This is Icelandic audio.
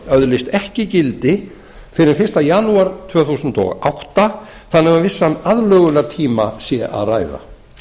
öðlist ekki gildi fyrr en fyrsta janúar tvö þúsund og átta þannig að um vissan aðlögunartíma sé að ræða